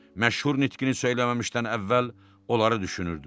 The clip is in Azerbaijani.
Məşhur nitqini söyləməmişdən əvvəl onları düşünürdü.